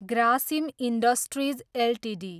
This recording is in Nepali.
Grasim industries Ltd